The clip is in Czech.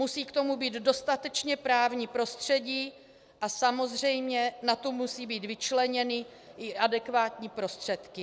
Musí k tomu být dostatečně právní prostředí a samozřejmě na to musí být vyčleněny i adekvátní prostředky.